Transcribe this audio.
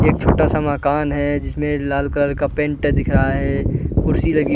एक छोटा -सा मकान है जिसमें लाल कलर का पेंट दिख रहा है कुर्सी लगी --